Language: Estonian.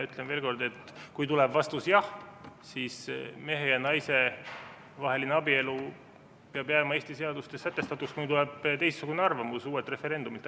Ütlen veel kord, et kui tuleb vastus jah, siis mehe ja naise vaheline abielu peab jääma Eesti seadustes sätestatuks, kuni tuleb teistsugune arvamus uuelt referendumilt.